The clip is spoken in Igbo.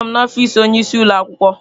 Anọ m n'ọfịsi onyeisi ụlọ akwụkwọ.